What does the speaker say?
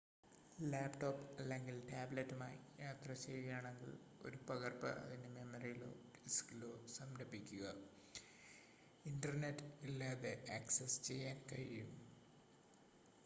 laptop അല്ലെങ്കിൽ ടാബ്‌ലെറ്റുമായി യാത്ര ചെയ്യുകയാണെങ്കിൽ ഒരു പകർപ്പ് അതിന്റെ മെമ്മറിയിലോ ഡിസ്കിലോ സംഭരിക്കുക ഇന്റർനെറ്റ് ഇല്ലാതെ ആക്സസ് ചെയ്യാൻ കഴിയും